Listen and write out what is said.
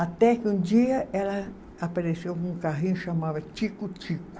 Até que um dia ela apareceu com um carrinho que chamava Tico Tico.